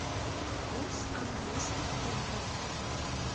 курс английских фунтов